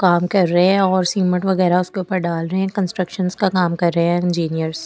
काम कर रहे है और सीमेंट वगैरा उसके ऊपर डाल रहे हैं कंस्ट्रक्शन का काम कर रहे हैं इंजीनियर ।